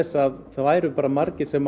að það væru margir sem